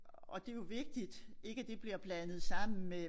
Og det jo vigtigt ikke at det bliver blandet sammen med